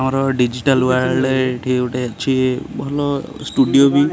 ଆମର digital world ଏଇଠି ଗୋଟେ ଅଛି ଭଲ ଷ୍ଟୁଡିଓ ବି।